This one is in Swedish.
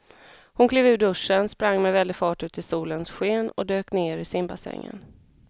Hon klev ur duschen, sprang med väldig fart ut i solens sken och dök ner i simbassängen.